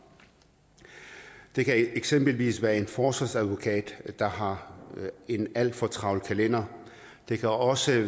det kan eksempelvis være en forsvarsadvokat der har en alt for travl kalender det kan også